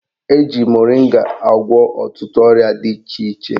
Eji moringa agwọ ọtụtụ ọrịa dị iche iche